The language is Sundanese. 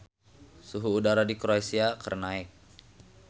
Suhu udara di Kroasia keur naek